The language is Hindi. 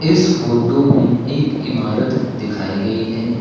इस फोटो में एक इमारत दिखाई गई है।